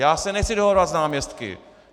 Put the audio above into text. Já se nechci dohadovat s náměstky.